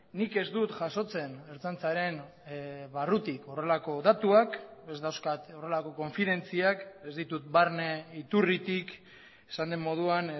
nik ez dut jasotzen ertzaintzaren barrutik horrelako datuak ez dauzkat horrelako konfidentziak ez ditut barne iturritik esan den moduan